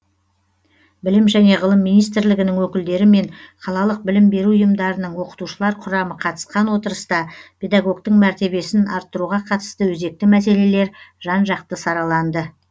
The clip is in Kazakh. білім және ғылым министрлігінің өкілдері мен қалалық білім беру ұйымдарының оқытушылар құрамы қатысқан отырыста педагогтың мәртебесін арттыруға қатысты өзекті мәселелер жан жақты сараланды